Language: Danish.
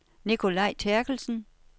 Nicolai Therkelsen